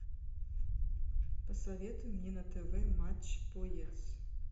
посоветуй мне на тв матч боец